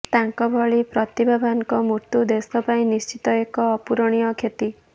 ତାଙ୍କ ଭଳି ପ୍ରତିଭାବାନଙ୍କ ମୃତ୍ୟୁ ଦେଶ ପାଇଁ ନିଶ୍ଚିତ ଏକ ଅପୂରଣୀୟ କ୍ଷତି